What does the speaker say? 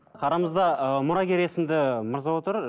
арамызда ыыы мұрагер есімді мырза отыр